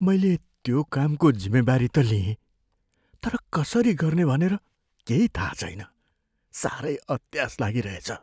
मैले त्यो कामको जिम्मेवारी त लिएँ, तर कसरी गर्ने भनेर केही थाहा छैन। साह्रै अत्यास लागिरहेछ।